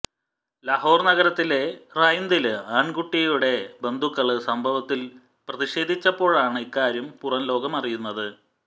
ലാഹോര് നഗരത്തിലെ റായ്വിന്ദില് ആണ്കുട്ടിയുടെ ബന്ധുക്കള് സംഭവത്തില് പ്രതിഷേധിച്ചപ്പോഴാണ് ഇക്കാര്യം പുറംലോകമറിയുന്നത്